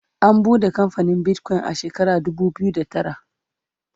an buɗe kamfanin Bitcoin a shekara dubu biyu da tara